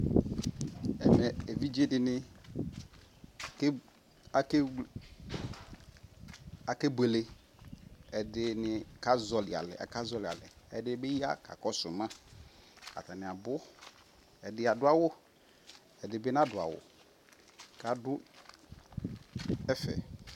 Ɛvɛɛ eviɖʒe dini ake akewlre akebwele ɛdi ni kaƶɔli alɛɛ ɛdibi ya kakɔsu Tuu ma ataniabu ɛdiadu awu ɛdibi naɖuawu kadu ɛfɛ